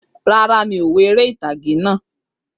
Rárá, mi ò wo eré ìtàgé naa